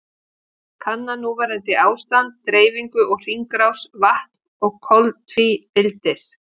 Kanna núverandi ástand, dreifingu og hringrás vatns og koltvíildis.